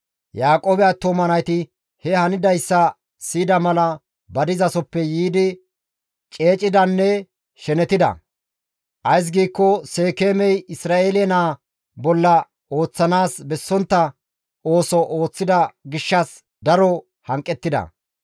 Yaaqoobe attuma nayti he hanidayssa siyida mala ba dizasoppe yiidi ceecidanne shenetida; ays giikko Seekeemey Isra7eele naa bolla ooththanaas bessontta ooso ooththida gishshas daro hanqettida.